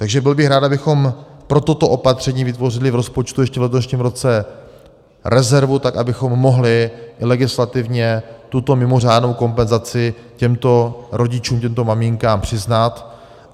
Takže byl bych rád, abychom pro toto opatření vytvořili v rozpočtu ještě v letošním roce rezervu tak, abychom mohli legislativně tuto mimořádnou kompenzaci těmto rodičům, těmto maminkám přiznat.